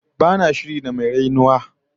Ba na shiri da mai rainuwa